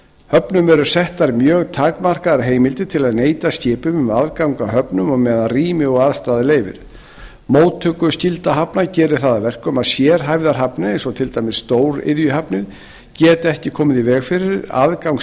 höfnum eru settar mjög takmarkaðar heimildir til að neita skipum um aðgang að höfnum á meðan rými og aðstaða leyfir móttökuskylda hafna gerir það að verkum að sérhæfðar hafnir eins og til dæmis stóriðjuhafnir geta ekki komið í veg fyrir aðgang